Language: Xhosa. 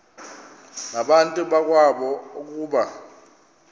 nabantu bakowabo ukuba